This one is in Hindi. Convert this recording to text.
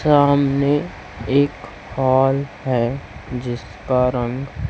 सामने एक हॉल है जिसका रंग--